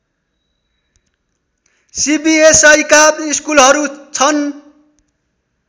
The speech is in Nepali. सिबिएसइका स्कुलहरू छन्